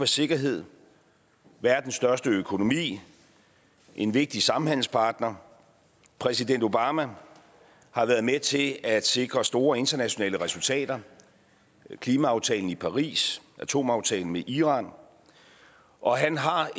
sikkerhed verdens største økonomi en vigtig samhandelspartner præsident obama har været med til at sikre store internationale resultater klimaaftalen i paris atomaftalen med iran og han har